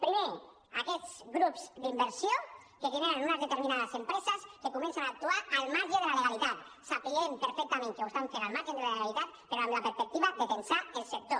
primer aquests grups d’inversió que generen unes determinades empreses que comencen a actuar al marge de la legalitat sabent perfectament que ho estan fent al marge de la legalitat però amb la perspectiva de tensar el sector